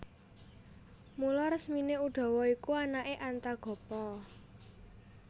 Mula resmine Udawa iku anake Antagopa